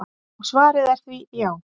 Og svarið er því: já.